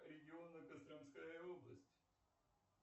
регионы костромская область